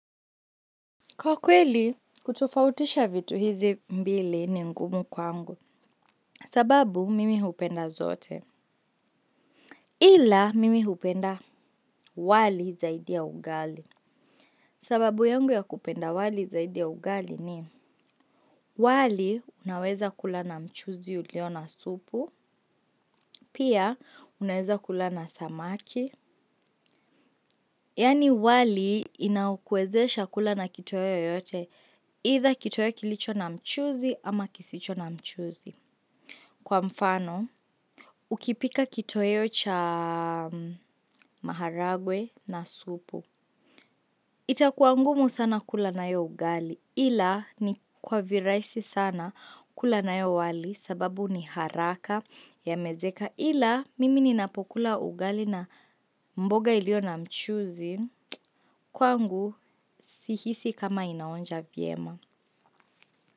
Kwa kweli, kutofautisha vitu hizi mbili ni ngumu kwangu. Sababu, mimi hupenda zote. Ila, mimi hupenda wali zaidi ya ugali. Sababu yangu ya kupenda wali zaidi ya ugali ni, wali unaweza kula na mchuzi uliona supu, pia unaweza kula na samaki. Yaani wali inaokuwezesha kula na kitoweo yoyote, aitha kitoweo kilicho na mchuzi ama kisicho na mchuzi. Kwa mfano, ukipika kitoweyo cha maharagwe na supu. Itakuangumu sana kula nayo ugali ila ni kwa viraisi sana kula na yo wali sababu ni haraka ya mezeka ila mimi ni napokula ugali na mboga ilio na mchuzi kwa ngu si hisi kama inaonja viema.